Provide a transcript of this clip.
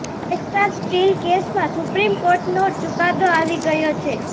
Essar steel કેસમાં supreme કોર્ટનો ચુકાદો આવી ગયો છે